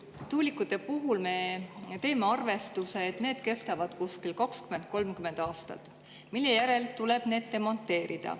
Tuulikute puhul me teeme arvestuse, et need kestavad kuskil 20–30 aastat, mille järel tuleb need demonteerida.